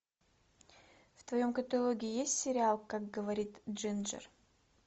в твоем каталоге есть сериал как говорит джинджер